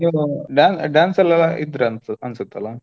ನೀವು da~ dance ಎಲ್ಲಾ ಇದ್ರ ಅನ್ಸ್~ ಅನ್ಸತ್ತಲ್ಲಾ.